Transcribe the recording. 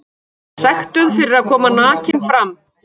Sektuð fyrir að koma nakin fram